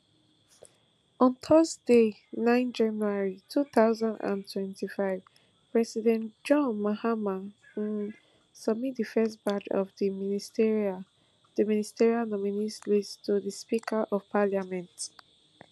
on thursday nine january two thousand and twenty-five president john mahama um submit di first batch of di ministerial di ministerial nominees list to di speaker of parliament